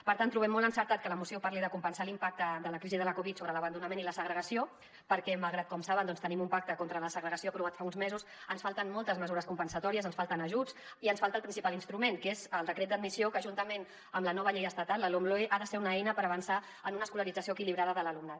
per tant trobem molt encertat que la moció parli de compensar l’impacte de la crisi de la covid sobre l’abandonament i la segregació perquè malgrat que com saben tenim un pacte contra la segregació aprovat fa uns mesos ens falten moltes mesures compensatòries ens falten ajuts i ens falta el principal instrument que és el decret d’admissió que juntament amb la nova llei estatal la lomloe ha de ser una eina per avançar en una escolarització equilibrada de l’alumnat